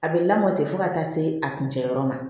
A bɛ lamɔ ten fo ka taa se a kun cɛ yɔrɔ ma